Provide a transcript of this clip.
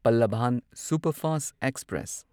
Pallavan superfast express